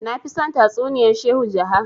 nafi son tatsuniyan shehu jaha